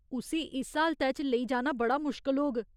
उस्सी इस हालतै च लेई जाना बड़ा मुश्कल होग।